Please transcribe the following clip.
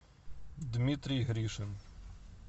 дмитрий гришин